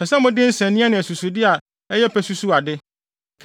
Ɛsɛ sɛ mode nsania ne asusude a ɛyɛ pɛ susuw ade.